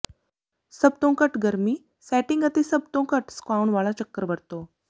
ਸਭ ਤੋਂ ਘੱਟ ਗਰਮੀ ਸੈਟਿੰਗ ਅਤੇ ਸਭ ਤੋਂ ਘੱਟ ਸੁਕਾਉਣ ਵਾਲਾ ਚੱਕਰ ਵਰਤੋ